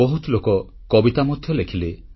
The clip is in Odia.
ବହୁତ ଲୋକ କବିତା ମଧ୍ୟ ଲେଖିଲେ